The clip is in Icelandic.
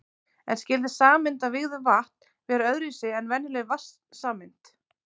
En skyldi sameind af vígðu vatn vera öðru vísi en venjuleg vatnssameind?